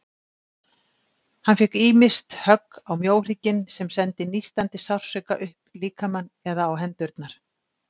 Hann fékk ýmist högg á mjóhrygginn, sem sendi nístandi sársauka upp líkamann, eða á hendurnar.